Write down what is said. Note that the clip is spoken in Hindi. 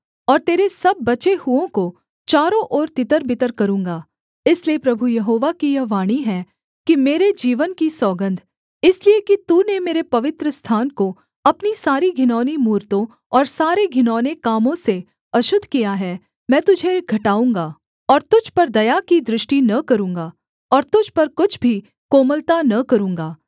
और तेरे सब बचे हुओं को चारों ओर तितरबितर करूँगा इसलिए प्रभु यहोवा की यह वाणी है कि मेरे जीवन की सौगन्ध इसलिए कि तूने मेरे पवित्रस्थान को अपनी सारी घिनौनी मूरतों और सारे घिनौने कामों से अशुद्ध किया है मैं तुझे घटाऊँगा और तुझ पर दया की दृष्टि न करूँगा और तुझ पर कुछ भी कोमलता न करूँगा